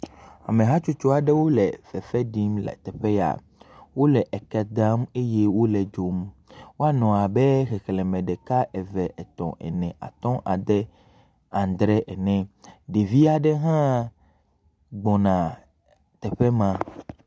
Ameha tsotso aɖewo le fefe ɖim le teƒe ya. Wole eke dram eye wole dzom. Woanɔ abe xexleme ɖeka, eve, etɔ̃, ene, atɔ̃, ade andre ene. Ɖevia ɖe hã gbɔna teƒe ma.